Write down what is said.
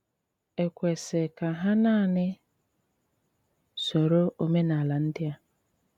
È kwesị̀ ka hà nanị sòrò òménálà ndị à?